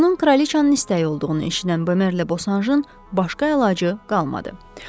Bunun kraliçanın istəyi olduğunu eşidən Bömerlə Bosanjın başqa əlacı qalmadı.